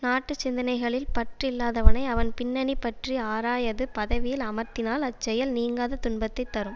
நாட்டு சிந்தனைகளில் பற்று இல்லாதவனை அவன் பின்னணி பற்றி ஆராயாது பதவியில் அமர்த்தினால் அச்செயல் நீங்காத துன்பத்தை தரும்